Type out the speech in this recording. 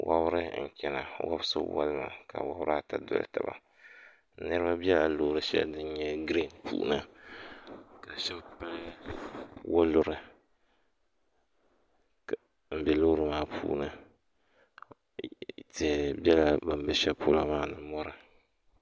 Wɔbiri n-chana wɔbiso waligiya ka wabiri ata doli taba niriba bela loori shɛli din nyɛ giriin puuni ka shɛba pili waluri m-be loori maa puuni tihi bela bɛ ni be shɛli polo maa ni mɔri